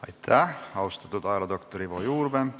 Aitäh, austatud ajaloodoktor Ivo Juurvee!